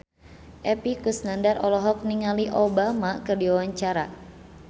Epy Kusnandar olohok ningali Obama keur diwawancara